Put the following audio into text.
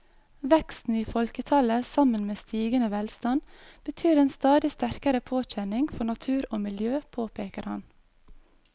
Veksten i folketallet sammen med stigende velstand betyr en stadig sterkere påkjenning for natur og miljø, påpeker han.